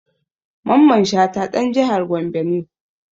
Mamman Shata ɗan jihar Gombe ne